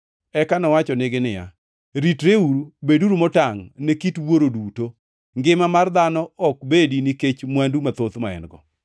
Eka nowachonegi niya, “Ritreuru! Beduru motangʼ ne kit wuoro duto; ngima mar dhano ok bedi nikech mwandu mathoth ma en-go.”